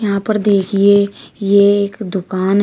यहां पर देखिए ये एक दुकान है।